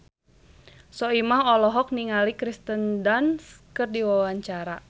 Soimah olohok ningali Kirsten Dunst keur diwawancara